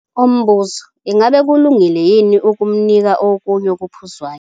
Umbuzo. Ingabe kulungile yini ukumnika okunye okuphuzwayo?